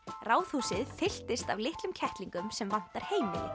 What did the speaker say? Ráðhúsið fylltist af litlum kettlingum sem vantar heimili